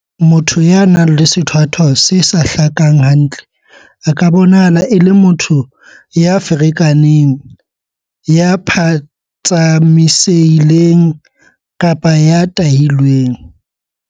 Motho ya nang le sethwathwa se sa hlakang hantle a ka bonahala e le motho ya ferekaneng, ya phatsamise-hileng kapa ya tahilweng.